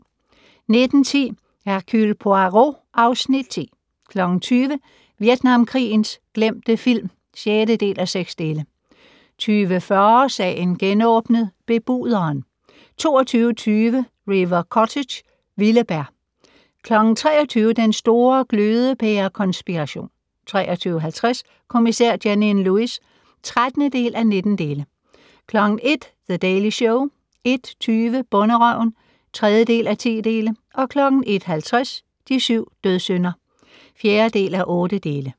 19:10: Hercule Poirot (Afs. 10) 20:00: Vietnamkrigens glemte film (6:6) 20:40: Sagen genåbnet: Bebuderen 22:20: River Cottage - vilde bær 23:00: Den store glødepære-konspiration 23:50: Kommissær Janine Lewis (13:19) 01:00: The Daily Show 01:20: Bonderøven (3:10) 01:50: De syv dødssynder (4:8)